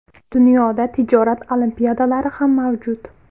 Dunyoda tijorat olimpiadalari ham mavjud.